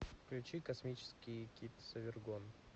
включи космический кит совергон